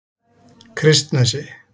Kristnesi